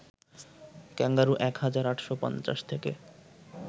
kangaroo ১ হাজার ৮৫০ থেকে